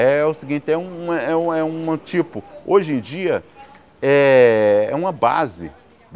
É o seguinte, é uma um um é um é um tipo, hoje em dia, é é uma base.